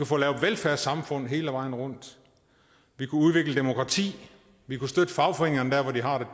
få lavet velfærdssamfund hele vejen rundt vi kunne udvikle demokrati vi kunne støtte fagforeningerne der hvor de har det